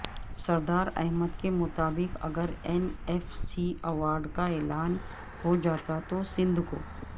سردار احمد کے مطابق اگر این ایف سی ایوارڈ کا اعلان ہوجاتا تو سندھ کو